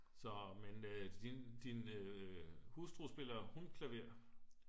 så men din hustru spiller hun klaver?